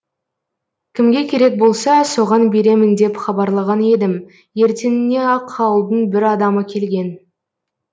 кімге керек болса соған беремін деп хабарлаған едім ертеңіне ақ ауылдың бір адамы келген